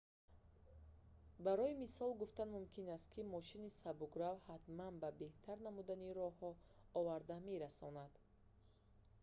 барои мисол гуфтан мумкин аст ки мошини сабукрав ҳатман ба беҳтар намудани роҳҳо оварда мерасонад